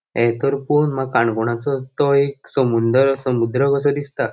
ये तर पोन माका काणकोणाचो तो एक समुन्दर समुद्र कसो दिसता.